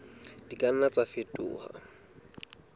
di ka nna tsa fetoha